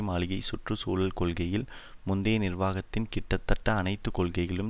மாளிகை சுற்று சூழல் கொள்கையில் முந்தைய நிர்வாகத்தின் கிட்டத்தட்ட அனைத்து கொள்கைகளையும்